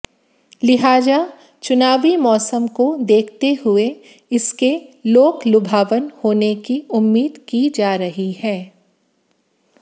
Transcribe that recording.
लिहाजा चुनावी मौसम को देखते हुए इसके लोकलुभावन होने की उम्मीद की जा रही है